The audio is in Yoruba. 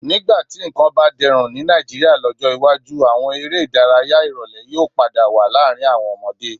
Nígbà tí nǹkan bá dẹrùn ní Nàìjíríà lọ́jọ́ iwájú, àwọn eré ìdárayá ìrólẹ́ yóò padà wá láàrin àwọn ọmọdé